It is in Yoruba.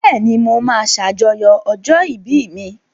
Bẹ́ẹ̀ni, mo máa ṣàjọyọ̀ ọjọ́ ìbí mi.